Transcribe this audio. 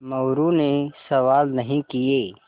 मोरू ने सवाल नहीं किये